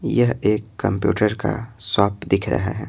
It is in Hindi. यह एक कंप्यूटर का शॉप दिख रहा है।